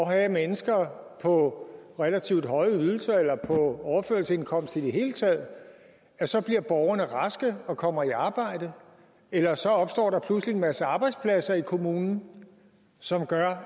have mennesker på relativt høje ydelser eller på overførselsindkomst i det hele taget så bliver borgerne raske og kommer i arbejde eller så opstår der pludselig en masse arbejdspladser i kommunen som gør